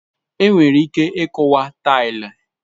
Enwere ike ịkuwa taịlị.